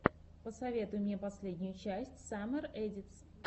посоветуй мне последнюю часть саммер эдитс